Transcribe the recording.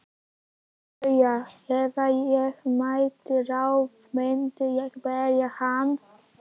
BAUJA: Ef ég mætti ráða myndi ég berja hann.